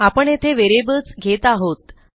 आपण येथे व्हेरिएबल्स घेत आहोत